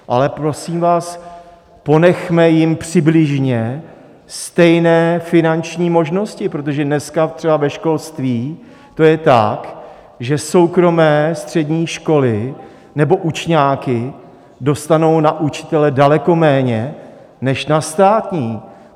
Ale prosím vás, ponechme jim přibližně stejné finanční možnosti, protože dneska třeba ve školství to je tak, že soukromé střední školy nebo učňáky dostanou na učitele daleko méně než na státní.